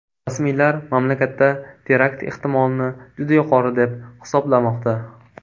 Rasmiylar mamlakatda terakt ehtimolini juda yuqori deb hisoblamoqda.